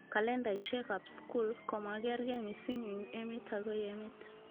Kalendaishekab skul komakerke mising eng emet akoi emet